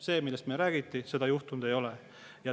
See, millest meile räägiti, seda juhtunud ei ole.